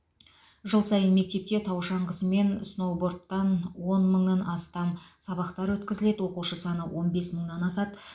жыл сайын мектепте тау шаңғысы мен сноубордтан он мыңнан астам сабақтар өткізіледі оқушы саны он бес мыңнан асады